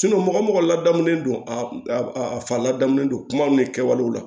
mɔgɔ o mɔgɔ ladamulen don a a fa ladamunen don kuma min kɛwale la